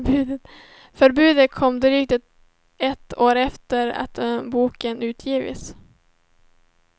Förbudet kom drygt ett år efter att boken utgivits.